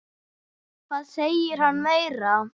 Hvað segir hann meira?